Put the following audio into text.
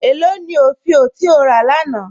Ẹ lọ ni ofíò ti o rà lána?